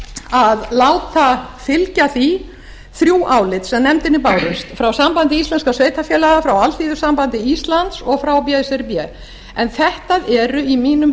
að láta fylgja því þrjú álit sem nefndinni bárust frá sambandi íslenskra sveitarfélaga frá alþýðusambandi íslands og frá brsb þetta eru í mínum